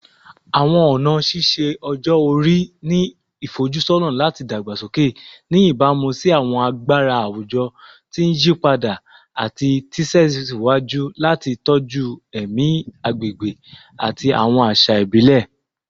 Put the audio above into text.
Awọn ọna ṣiṣe-ọjọ-ori ni ifojusọna lati dagbasoke, ni ibamu si awọn agbara awujọ ti n yipada, ati tẹsiwaju lati tọju ẹmi agbegbe ati awọn aṣa ibile